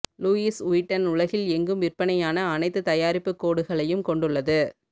Lewis Vuitton உலகில் எங்கும் விற்பனையான அனைத்து தயாரிப்புக் கோடுகளையும் கொண்டுள்ளது